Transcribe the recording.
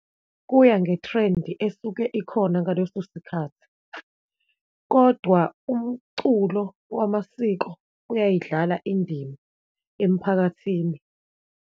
Kuya nge-trend esuke ikhona ngaleso sikhathi, kodwa umculo wamasiko uyayidlala indima emphakathini.